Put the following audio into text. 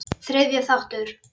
Þriðji þáttur